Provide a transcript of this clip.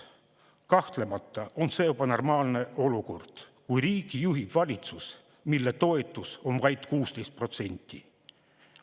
Kahtlemata on see ebanormaalne olukord, kui riiki juhib valitsus, mille toetus on vaid 16%.